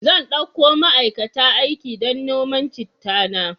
Zan dauko ma'aikata aiki don noman chitta na.